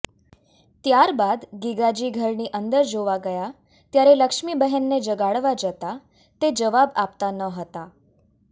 ત્યારબાદ ગીગાજી ઘરની અંદર જોવા ગયા ત્યારે લક્ષ્મીબહેનને જગાડવા જતાં તે જવાબ આપતાં ન હતાં